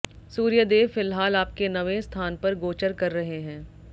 सूर्यदेव फिलहाल आपके नवें स्थान पर गोचर कर रहे हैं